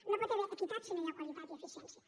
no hi pot haver equitat si no hi ha qualitat i eficiència